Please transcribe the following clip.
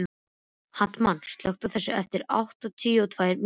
Hartmann, slökktu á þessu eftir áttatíu og tvær mínútur.